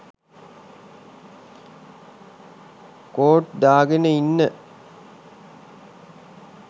coat දාගෙන ඉන්න